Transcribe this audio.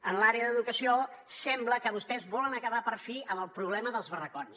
en l’àrea d’educació sembla que vostès volen acabar per fi amb el problema dels barracons